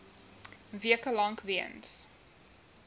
weke lank weens